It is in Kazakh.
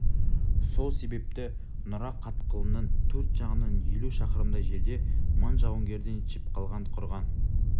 сол себепті нұра қатқылының төрт жағынан елу шақырымдай жерде мың жауынгерден шепқалған құрған